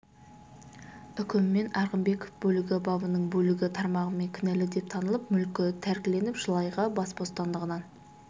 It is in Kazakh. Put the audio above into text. үкімімен арғынбеков бөлігі бабының бөлігі тармағымен кінәлі деп танылып мүлкі тәркіленіп жыл айға бас бостандығынан